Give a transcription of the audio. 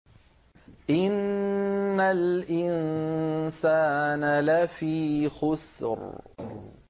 إِنَّ الْإِنسَانَ لَفِي خُسْرٍ